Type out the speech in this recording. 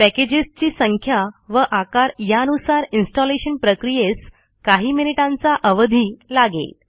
पॅकेजेसची संख्या व आकार यानुसार इन्स्टॉलेशन प्रक्रियेस काही मिनिटांचा अवधी लागेल